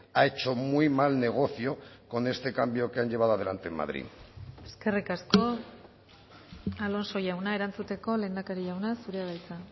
ha hecho muy mal negocio con este cambio que han llevado adelante en madrid eskerrik asko alonso jauna erantzuteko lehendakari jauna zurea da hitza